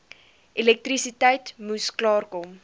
elektrisiteit moes klaarkom